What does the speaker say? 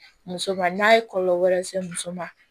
Muso ma n'a ye kɔlɔlɔ wɛrɛ se muso ma